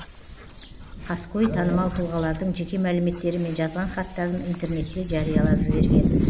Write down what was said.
қаскөй танымал тұлғалардың жеке мәліметтері мен жазған хаттарын интернетте жариялап жіберген